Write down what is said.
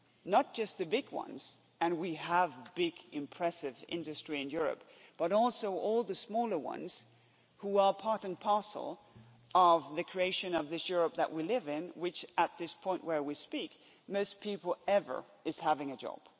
not just the big ones and we have big impressive industry in Europe but also all the smaller ones who are part and parcel of the creation of this Europe that we live in, in which at this point where we speak more people than ever have a job.